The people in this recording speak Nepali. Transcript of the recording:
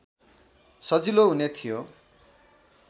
सजिलो हुने थियो